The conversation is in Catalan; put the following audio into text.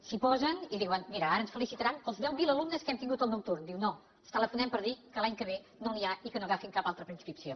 s’hi po sen i diuen mira ara ens felicitaran pels deu mil alumnes que hem tingut al nocturn diu no els telefonem per dir que l’any que ve no n’hi ha i que no agafin cap altra preinscripció